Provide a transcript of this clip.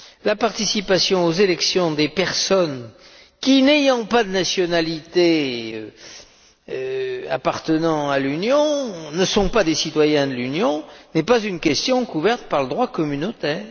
La participation aux élections des personnes qui, n'ayant pas la nationalité d'un pays de l'Union, ne sont pas des citoyens de l'Union, n'est pas une question couverte par le droit communautaire.